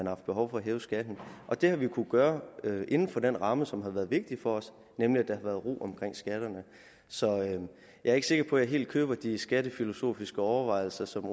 haft behov for hæve skatten og det har vi kunnet gøre inden for den ramme som har været vigtig for os nemlig at der været ro omkring skatterne så jeg er ikke sikker på at jeg helt køber de skattefilosofiske overvejelser som